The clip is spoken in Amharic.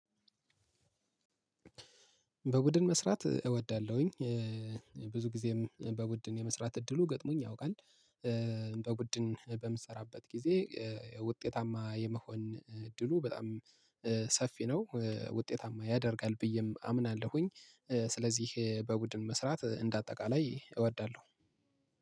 በበበድን መስራት እወዳለሁኝ። ብዙ ጊዜም በቡድን የመስራት እድሉ ገጥሞኝ ያውቃል። በቡድን በምሰራበት ጊዜ ውጤታማ የመሆን እድሉ በጣም ሰፊ ነው። ውጤታማ ያደርጋል ብዬም አምናለሁኝ። ስለዚህ በቡድን መስራት እንደ አጠቃላይ እወዳለሁ።